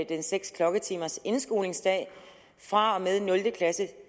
den seks klokketimers indskolingsdag fra og med nul klasse